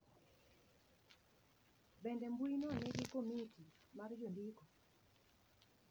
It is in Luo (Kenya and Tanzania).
Bende mbuino nigi komiti mar jondiko?